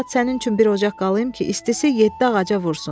Bu saat sənin üçün bir ocaq qalayım ki, istisi yeddi ağaca vursun.